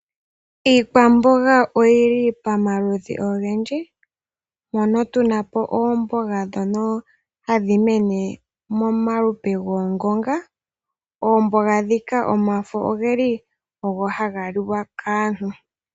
Iikwamboga oyo li pamaludhi ogendji , mono tuna po oomboga ndhono hadhi mene momaludhi goongonga. Oomboga ndhika omafo gadho oge li haga liwa kaantu.